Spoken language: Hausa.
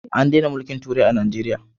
An dena mulkin turai a najeriya